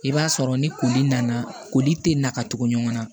I b'a sɔrɔ ni koli nana koli tɛ na ka tugu ɲɔgɔnna